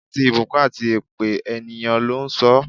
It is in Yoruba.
Àti ìbùkún àti èpè, ènìyàn ló ń sọ ọ́.